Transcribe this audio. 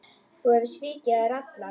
Þú hefur svikið þær allar.